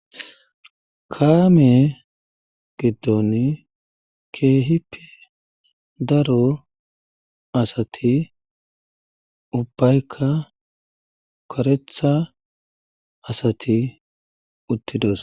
Kaame giddon keehipi daro asati ubbaykka karetha asati uttidos